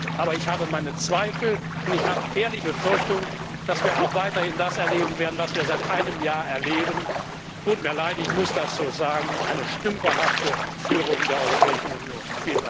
Aber ich habe meine Zweifel und die Befürchtung, dass wir auch weiterhin das erleben werden, was wir seit einem Jahr erleben es tut mir leid, ich muss das so sagen eine stümperhafte Führung der Europäischen Union!